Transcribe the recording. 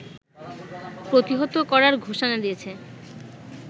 প্রতিহত করার ঘোষণা দিয়েছে